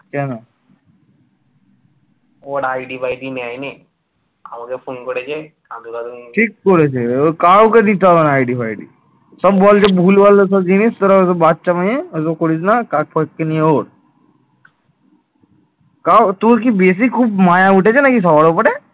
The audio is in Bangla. তাও তোর কি বেশি খুব মায়া উঠেছে নাকি সবার উপরে?